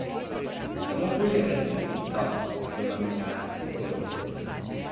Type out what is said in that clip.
Samo bolj ranljivi so do mamilarske vojne.